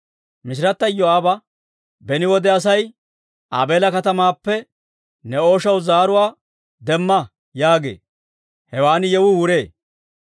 Mishirata Iyoo'aaba, «Beni wode Asay ‹Aabeela katamaappe ne ooshaw zaaruwaa demma› yaagee; hewan yewuu wuree.